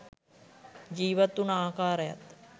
ජීවත් උන ආකාරයත්